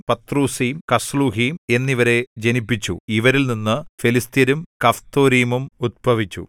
പത്രൂസീം കസ്ലൂഹീം ഇവരിൽനിന്നു ഫെലിസ്ത്യരും കഫ്തോരീമും ഉത്ഭവിച്ചു എന്നിവരെ ജനിപ്പിച്ചു